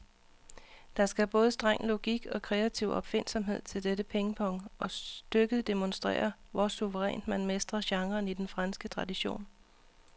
Der skal både streng logik og kreativ opfindsomhed til dette pingpong, og stykket demonstrerer, hvor suverænt man mestrer genren i den franske tradition.